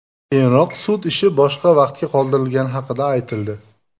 Keyinroq sud ishi boshqa vaqtga qoldirilgani haqida aytildi.